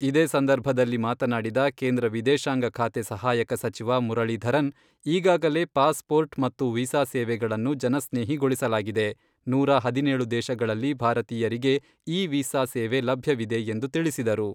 ಇದೇ ಸಂದರ್ಭದಲ್ಲಿ ಮಾತನಾಡಿದ ಕೇಂದ್ರ ವಿದೇಶಾಂಗ ಖಾತೆ ಸಹಾಯಕ ಸಚಿವ ಮುರಳೀಧರನ್, ಈಗಾಗಲೇ ಪಾಸ್ ಪೋರ್ಟ್ ಮತ್ತು ವೀಸಾ ಸೇವೆಗಳನ್ನು ಜನಸ್ನೇಹಿಗೊಳಿಸಲಾಗಿದೆ, ನೂರಾ ಹದಿನೇಳು ದೇಶಗಳಲ್ಲಿ ಭಾರತೀಯರಿಗೆ ಇ ವೀಸಾ ಸೇವೆ ಲಭ್ಯವಿದೆ ಎಂದು ತಿಳಿಸಿದರು.